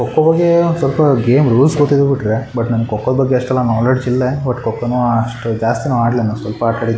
ಕೊಕ್ಕೋ ಹೋಗಿ ಸ್ವಲ್ಪ ಹೋಗಿ ರೂಲ್ಸ್ ಗೊತ್ತಾಗಿ ಬಿಟ್ಟ್ರೆ ಬಟ್ ನಮ್ಮಗೆ ಕೋಕೋ ಬಗ್ಗೆ ಅಷ್ಟ್ ನೊಲೆಡ್ಜ್ ಇಲ್ಲಾ ಬಟ್ ಕೋಕೋನು ಅಷ್ಟು ಜಾಸ್ತಿನು ಆಡ್ಲಿನು ಸ್ವಲ್ಪ ಆಟ ಆಡದ್ವಿ.